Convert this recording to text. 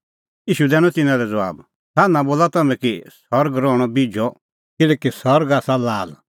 ईशू दैनअ तिन्नां लै ज़बाब सान्हां बोला तम्हैं कि सरग रहणअ बिझअ किल्हैकि सरग आसा लाल